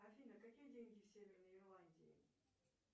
афина какие деньги в северной ирландии